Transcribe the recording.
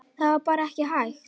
Það var bara ekki hægt.